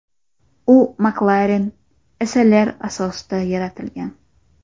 U McLaren SLR asosida yaratilgan.